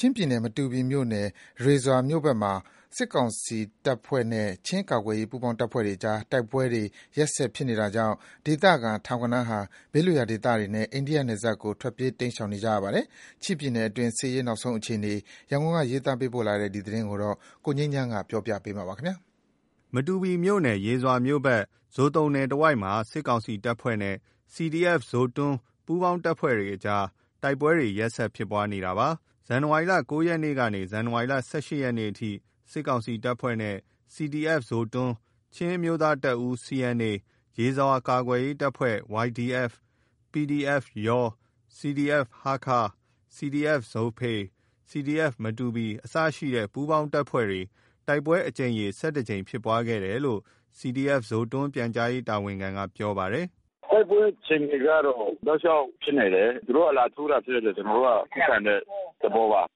ချင်းပြည်နယ် မတူပီမြို့နယ် ရေဇွာမြို့ဘက်မှာ စစ်ကောင်စီတပ်ဖွဲ့နဲ့ ချင်းကာကွယ်ရေးပူးပေါင်းတပ်ဖွဲ့တွေအကြား တိုက်ပွဲတွေ ရက်ဆက်ဖြစ်နေတာကြောင့်၊ ဒေသခံ ထောင်ဂဏန်းဟာ ဘေးလွတ်ရာဒေသတွေနဲ့ အိန္ဒိယနယ်စပ်ကို တိမ်းရှောင်နေကြရပါတယ်။ ချင်းပြည်နယ်တွင်း စစ်ရေးနောက်ဆုံးအခြေအနေ ရန်ကုန်က ရေးသားပေးပို့လာတဲ့သတင်းကို ကိုငြိမ်းချမ်းပြောပြမှာပါ။ မတူပီမြို့နယ် ရေဇွာမြို့ဘက် ဇိုသုန်နယ်တဝိုက်မှာ စစ်ကောင်စီတပ်ဖွဲ့နဲ့ CDF-Zotung၊ပူးပေါင်းတပ်ဖွဲ့အကြား တိုက်ပွဲတွေ ရက်ဆက်ဖြစ်ပွားနေတာပါ။ ဇန်နဝါရီလ ၉ ရက်နေ့ကနှေ ဇန်နဝါရီလ ၁၈ ရက်နေ့အထိ စစ်ကောင်စီတပ်ဖွဲ့နဲ့ CDFZotung, ချင်းအမျိုးသားတပ်ဦး CNA, ရေဇွာကာကွယ်ရေးအဖွဲ့YDF, PDF-YAW, CDF-ဟားခါး, CDF-ZOPHEI, CDF-Matupi,အစရှိတဲ့ ပူးပေါင်း တပ်ဖွဲ့တို့ တိုက်ပွဲအကြိမ်ရေ(၁၁)ကြိမ်ဖြစ်ပွါးခဲ့တယ်လို့ CDF-Zotung ပြန်ကြားရေးတာဝန်ခံက ပြောပါတယ်။ “ တိုက်ပွဲအခြေအနေကတော့ တောက်လျှောက်ဖြစ်နေတယ်။ သူတို့ကလာထိုးတာဖြစ်လို့ ကျွန်တော်တို့က ခုခံတဲ့ သဘောပါ။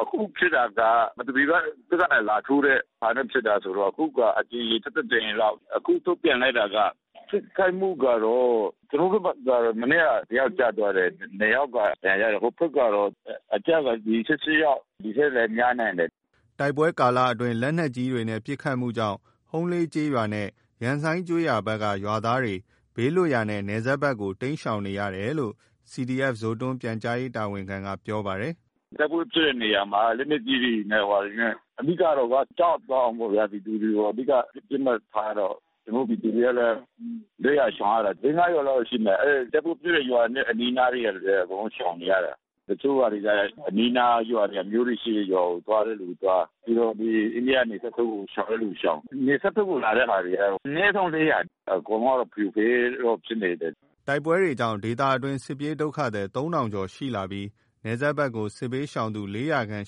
အခုဖြစ်တာက မတူပီက စစ်တပ်လာထိုးတဲ့ဟာနဲ့ဖြစ်တာဆိုတော့ အခုကအကြိမ်ရေ(၁၁)ကြိမ်လောက်။ ထိခိုက်မှုကတော့ ကျွန်တော်တို့ဘက်က မနေ့က တယောက်ကျသွားတယ်။ (၂)ယောက်က ဒဏ်ရာရတယ်။ ဟိုဘက် ကျတော့ အကျက(၁၈)ယောက်။ ဒီထက်လဲများနိုင်တယ်။ ” တိုက်ပွဲကာလအတွင်း လက်နက်ကြီးပစ်ခတ်မှုကြောင့် ဟုန်းလေးကျေးရွာနှင့် ရမ်ဆိုင်း ကျေးရွာဘက်က ရွာသားတွေ ဘေးလွတ်ရာနဲ့ နယ်စပ်ဘက်ကို တိမ်းရှောင်နေရတယ်လို့ CDF-Zotung ပြန်ကြားရေးတာဝန်ခံက ပြောပါတယ်။ “ တိုက်ပွဲဖြစ်တဲ့နေရာမှာ လက်နက်ကြီးတွေနဲ့ ဘာတွေနဲ့အဓိကကတော့ ကြောက်သွားအောင်ပေါ့ဗျာ။ ပြည်သူတွေကို အဓိကပစ်မှတ်ထားတော့။ ကျွန်တော်တို့ပြည်သူတွေကလဲ တိမ်းရရှောင်ရတယ်။ လေး ငါးရွာလောက်တော့ရှိမယ်။ အဲဒီတိုက်ပွဲဖြစ်တဲ့ရွာအနီးနားကသူလဲ အကုန်လုံးရှောင်နေရတယ်။ တချို့ဟာတွေကျတော့ အနီးအနားကရွာ အမျိုးတွေ ရှိတဲ့ရွာကိုသွားတဲ့သူသွား။ ပြီးတော့ အိန္ဒိယနယ်စပ်ဘက်ကို ရှောင်တဲ့သူရှောင်။ နယ်စပ်ဘက်ကိုလာတဲ့ဟာကျတော့ အနဲဆုံး(၄၀၀) အကုန်လုံးကတော့ဖရိုဖရဲတော့ဖြစ်နေတယ်။ ” တိုက်ပွဲတွေကြောင့် ဒေသအတွင်း စစ်ပြေးဒုက္ခသည် ၃၀၀၀ ကျော်ရှိလာပြီး နယ်စပ်ဖက်ကို စစ်ဘေးရှောင်သူ (၄၀၀)ခန့်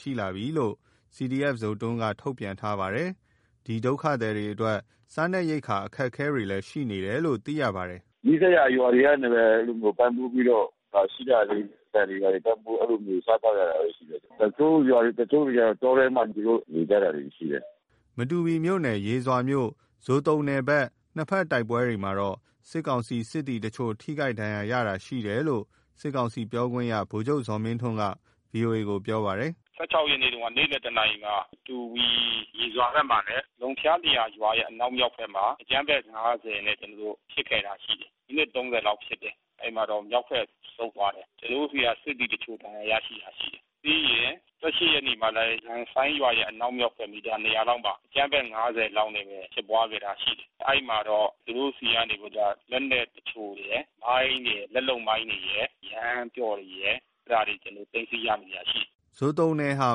ရှိလာပြီလို့လည်း CDF-Zotung ကထုတ်ပြန်ထားပါတယ်။ ဒီ ဒုက္ခသည်တွေအတွက် စားနပ်ရိက္ခာအခက်အခဲတွေရှိနေတယ်လို့လည်း သိရပါတယ်။ “ နီးစပ်ရာရွာတွေကနေ ပေါင်းစုပြီးတော့ ရှိတာလေး ဆန်တွေဘာတွေ ပေါင်းပြီး အဲဒီလိုဝေစားသောက်ရတာပေါ့။ တချို့ရွာတွေ တချို့သူတွေ တောထဲမှာ သူတို့နေကြတာရှိတယ်။ ” မတူပီမြို့နယ် ရေဇွာမြို့ဇိုသုန်နယ်ဘက် နှစ်ဖက်တိုက်ပွဲမှာ စစ်ကောင်စီ စစ်သည်တချို့ ထိခိုက်ဒဏ်ရာရတာရှိတယ်လို့ စစ်ကောင်စီပြောခွင့်ရ ဗိုလ်ချုပ် ဇော်မင်းထွန်းက VOA ကို ပြောပါတယ်။ “ (၁၆)ရက်နေ့က နေ့လယ်တနာရီမှာ မတူပီ ရေဇွာဘက်မှာလဲ လုံဖျာရာရွာရဲ့ အနောက်မြောက်ဘက်မှာ အကြမ်း ဖက်(၅၀)နဲ့ကျွန်တော်တို့ ဖြစ်ခဲ့တာရှိတယ်။ မိနစ်(၃၀)လောက်ဖြစ်တယ်။ အဲဒီမှာတော့ မြောက်ဘက်ကိုဆုတ်သွား တယ်။ ကျွန်တော်တို့ဆီက စစ်သည်တချို့ဒဏ်ရာရရှိခဲ့တာရှိတယ်။ ပြီးရင်(၁၈)ရက်နေ့မှာလဲ ရမ်ဆိုင်းရွာရဲ့ အနောက် မြောက်ဘက် မီတာ(၂၀၀)လောက်မှာ အကြမးဖက်(၅၀)လောက်နဲ့လဲဖြစ်ပွါးခဲ့တာရှိတယ်။ အဲဒီမှာတော့ သူတို့ဆီက နေပြီးတော့က လက်နက်တချို့ရယ်။ မိုင်းရယ် လက်လုပ်မိုင်းတွေရယ်။ ယမ်းပျော့ရယ်။ အဲတာတွေကိုကျွန်တော်တို့ သိမ်းဆီးရမိတာရှိတယ်။ ” ဇိုတုန်နယ်ဟာ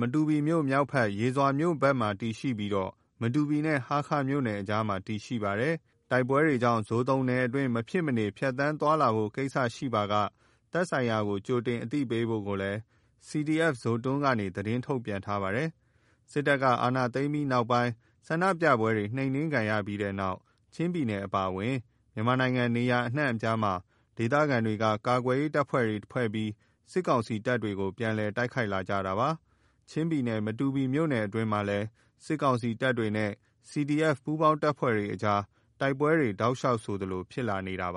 မတူပီမြို့မြောက်ဘက် ရေဇွာမြို့ဘက်မှာတည်ရှိနေပြီး မတူပီနဲ့ဟားခါးမြို့နယ် အကြားမှာ တည်ရှိနေ ပါတယ်။ တိုက်ပွဲတွေကြောင့် ဇိုသုန်နယ်အတွင်း မဖြစ်မနေ ဖြတ်သန်း သွားလာဖို့ကိစ္စရှိပါက သက်ဆိုင်ရာကို ကြိုတင် အသိ ပေးဖို့ကိုလဲ CDF-Zotung ကနေ သတင်းထုတ်ပြန်ထားပါတယ်။ စစ်တပ်က အာဏာသိမ်းပြီး ဆန္ဒပြပွဲတွေနှိမ်နင်းခံရပြီးတဲ့နောက် ချင်းပြည်နယ်အပါအဝင် မြန်မာနိုင်ငံနေရာအများအပြားမှာ ဒေသခံတွေက ကာကွယ်ရေးအဖွဲ့တွေဖွဲ့ပြီး စစ်ကောင်စီတပ်တွေကို ပြန်လည် တိုက်ခိုက်လာကြတာပါ။ ချင်းပြည်နယ် မတူပီမြို့နယ်အတွင်းမှာလည်း စစ်ကောင်စီတပ်ဖွဲ့နဲ့ CDF ပူးပေါင်းတပ်ဖွဲ့အကြားတိုက်ပွဲတွေ တောက်လျှောက်ဆိုသလိုဖြစ်လာနေပါ